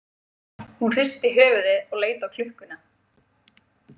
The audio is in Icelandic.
Hún hristi höfuðið og leit á klukkuna.